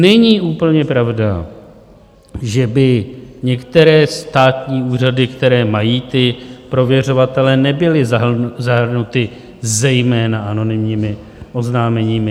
Není úplně pravda, že by některé státní úřady, které mají ty prověřovatele, nebyly zahrnuty zejména anonymními oznámeními.